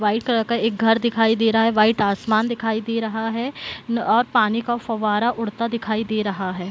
White colour का एक घर दिखाई दे रहा है। व्हाइट आसमान दिखाई दे रहा है और पानी का फव्वारा उड़ता दिखाई दे रहा है।